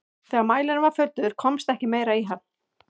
þegar mælirinn var fullur komst ekki meira í hann